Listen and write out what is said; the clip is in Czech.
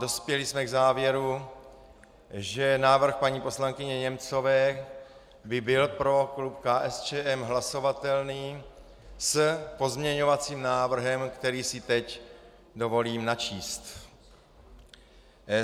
Dospěli jsme k závěru, že návrh paní poslankyně Němcové by byl pro klub KSČM hlasovatelný s pozměňovacím návrhem, který si teď dovolím načíst.